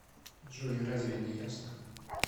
джой разве не ясно